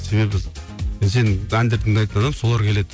себебі сен әндерді тыңдайтын адам солар келеді